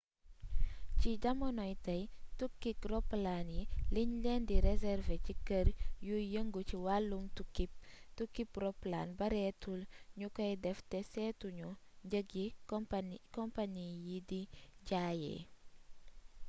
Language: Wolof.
ci jamonoy tey tukkib roplaan yi liñ leen di reservé ci kër yuy yëngu ci wàllum tukkib roplaan bareetul ñu koy def te seetu ñu njëg yi companie yi di jaayee